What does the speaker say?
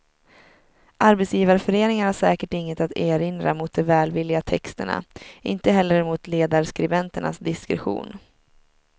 Arbetsgivarföreningen har säkert inget att erinra mot de välvilliga texterna, inte heller mot ledarskribenternas diskretion.